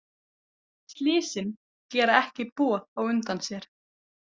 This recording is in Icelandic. Slysin gera ekki boð á undan sér.